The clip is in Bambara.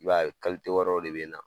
I b'a ye wɛrɛw de bɛ na.